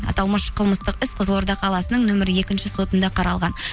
аталмыш қылмыстық іс қызылорда қаласының нөмірі екінші сотында қаралған